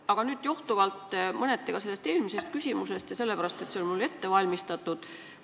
Aga küsin mõneti johtuvalt eelmisest küsimusest ja ka sellepärast, et see küsimus on mul ette valmistatud.